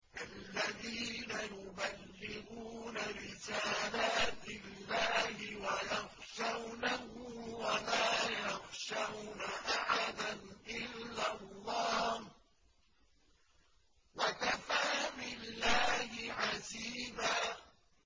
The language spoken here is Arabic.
الَّذِينَ يُبَلِّغُونَ رِسَالَاتِ اللَّهِ وَيَخْشَوْنَهُ وَلَا يَخْشَوْنَ أَحَدًا إِلَّا اللَّهَ ۗ وَكَفَىٰ بِاللَّهِ حَسِيبًا